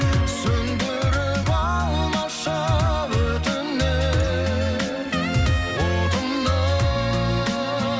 сөнідіріп алмашы өтінемін отымды